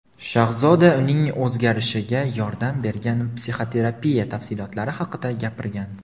shahzoda uning o‘zgarishiga yordam bergan psixoterapiya tafsilotlari haqida gapirgan.